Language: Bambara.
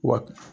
Wa